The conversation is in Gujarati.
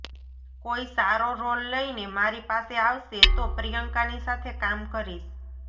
કોઈ સારો રોલ લઈને મારી પાસે આવશે તો પ્રિયંકાની સાથે કામ કરીશ